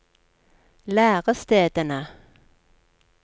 lærestedene